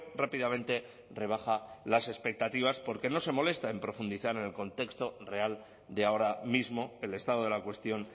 rápidamente rebaja las expectativas porque no se molesta en profundizar en el contexto real de ahora mismo el estado de la cuestión